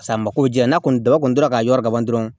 Paseke a mako jɛ n'a kɔni daba kɔni tora k'a yɔrɔ laban dɔrɔn